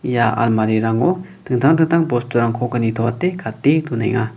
ia almarirango dingtang dingtang bosturangkoba uko nitoate gate donenga.